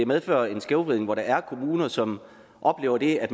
medfører en skævvridning hvor der er kommuner som oplever det at